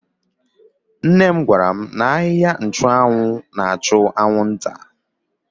Nne m gwara m n'ahịhịa nchụanwụ na-achụ anwụnta.